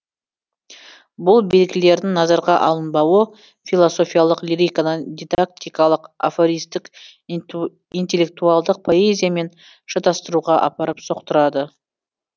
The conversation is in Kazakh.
бұл белгілердің назарға алынбауы философиялық лириканы дидактикалық афористік интеллектуалдық поэзиямен шатастыруға апарып соқтырады